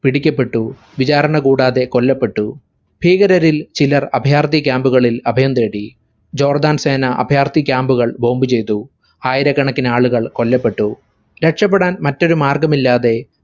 പിടിക്കപ്പെട്ടു. വിചാരണകൂടാതെ കൊല്ലപ്പെട്ടു. ഭീകരരിൽ ചിലർ അഭയാർത്ഥി camp ഉകളിൽ അഭയം തേടി. ജോർദാൻ സേന അഭയാർത്ഥി camp ഉകൾ bomb ചെയ്തു. ആയിരക്കണക്കിനാളുകൾ കൊല്ലപ്പെട്ടു. രക്ഷപ്പെടാൻ മറ്റൊരുമാർഗ്ഗമില്ലാതെ